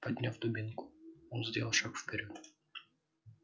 подняв дубинку он сделал шаг вперёд